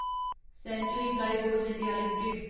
century Plyboards India limited